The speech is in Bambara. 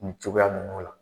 Nin cogoya ninnu la